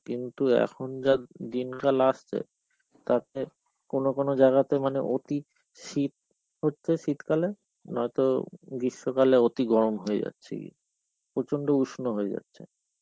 কিন্তু এখন যা দিনকাল আসছে. তাতে কোনো কোনো জায়গাতে মানে অতি শীত পড়ছে শীত কালে, নয়তো গ্রীষ্মকালে অতি গরম হয়ে যাচ্ছে.প্রচন্ড উষ্ম হয়ে যাচ্ছে.